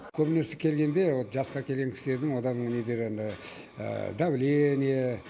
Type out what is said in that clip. көбінесе келгенде вот жасқа келген кісілердің олардың недері енді давление